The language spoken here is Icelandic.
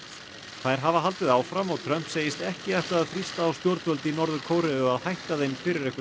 þær hafa haldið áfram og Trump segist ekki ætla að þrýsta á stjórnvöld í Norður Kóreu að hætta þeim fyrir einhvern